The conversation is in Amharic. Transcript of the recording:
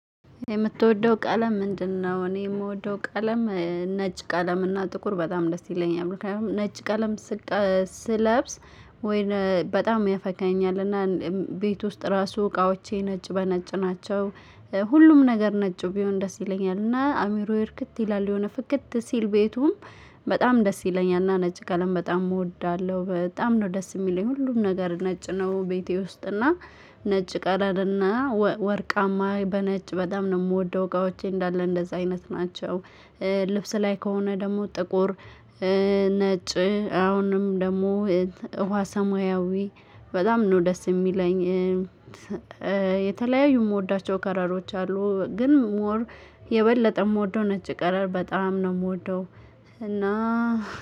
የምትወደው ቀለም ምንድነው? እኔ የምወደው ቀለም ነጭ ቀለም እና ጥቁር በጣም ደስ ይለኛል ነጭ ቀለም ስለብስ ወይም በጣም ያፈካኛል እና ቤት ውስጥ ራሱ እቃዎቼ ነጭ በነጭ ናቸው ሁሉም ነገር ነጭ ቢሆን ደስ ይለኛል እና አምሮየ እርክት ይላል የሆነ ፍክት ሲል ቤቱም በጣም ደስ ይለኛልና ነጭ ቀለም በጣም እወዳለሁ። በጣም ነው ደስ የሚለኝ ሁሉም ነገር ነጭ ነው። ቤቴ ውስጥ እና ነጭ ቀረም እና ወርቃማ በነጭ በጣም ነው የምወደው እቃዎቼ እንዳለ እንደዛ አይነት ናቸው። ልብስ ላይ ከሆነ ደግሞ ጥቁር። ነጭ አሁንም ደግሞ ውሃ ሰማያዊ በጣም ነው ደስ የሚለኝ። የተለያዩ የምወዳቸው ከለሮች አሉ ግን ሞር የበለጠ የምወደው ነጭ ቀለር በጣም ነው የምወደው። እና